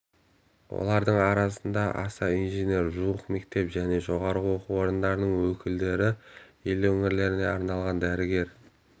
олардың арасында аса инженер жуық мектеп және жоғары оқу орындарының өкілдері ел өңірлеріне арналған дәрігер